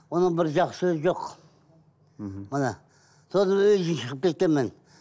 оның бір жақсы сөзі жоқ мхм міне содан үйден шығып кеткенмін